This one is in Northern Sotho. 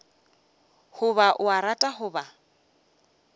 goba o a rata goba